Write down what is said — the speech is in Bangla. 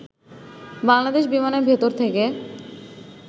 বাংলাদেশ বিমানের ভেতর থেকে